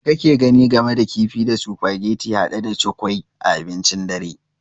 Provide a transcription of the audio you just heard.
Me kake gani game da kifi da sufageti hade da cukwui a abincin dare?